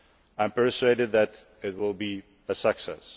I am persuaded that it will be a success.